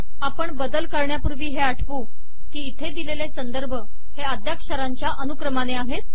आपण बदल करण्यापूर्वी हे आठवू कि इथे दिलेले संदर्भ हे अद्याक्षरांच्या अनुक्रमाने आहेत